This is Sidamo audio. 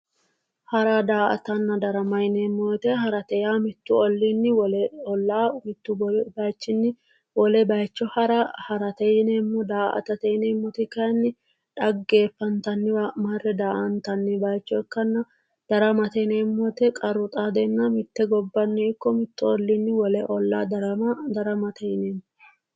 Hara, daa"atta, darama yinneemmo woyte, hara yaa mitu ollini wole olla, mitu bayichini wole bayicho hara ha'rate yinneemmo, daa"atate kayinni dhaggeefantaniwa marre daa"attani bayicho ikkanna ,daramate yinneemmo woyte qarru xaadena mite gobbani ikko mitu ollini wole olla darama daramate yinneemmo.